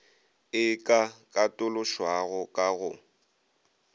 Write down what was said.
e ka katološwago ka go